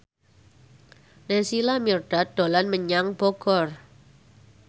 Naysila Mirdad dolan menyang Bogor